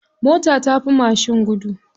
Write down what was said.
Mota tafi mashin gudu.